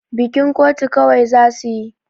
Bikin kotu kawai za su yi.